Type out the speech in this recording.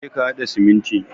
Je ka hada siminti.